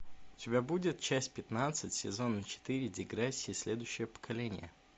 у тебя будет часть пятнадцать сезона четыре деграсси следующее поколение